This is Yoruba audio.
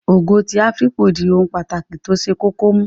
Ogo ti afipo di ohun pàtàkì tó ṣe kókó mú